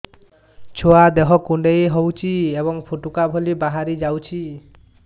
ଛୁଆ ଦେହ କୁଣ୍ଡେଇ ହଉଛି ଏବଂ ଫୁଟୁକା ଭଳି ବାହାରିଯାଉଛି